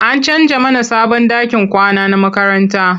An canja mana sabon ɗakin kwana na makaranta.